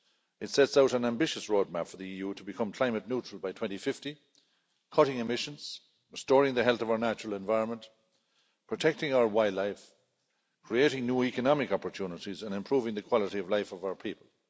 It sets out an ambitious roadmap for the EU to become climate neutral by 2050, cutting emissions, restoring the health of our natural environment, protecting our wildlife, creating new economic opportunities and improving the quality of life of our people.